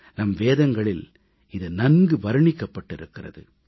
நம் வேதங்களில் இது நன்கு வர்ணிக்கப்பட்டிருக்கிறது